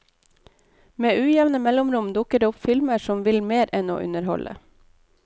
Med ujevne mellomrom dukker det opp filmer som vil mer enn å underholde.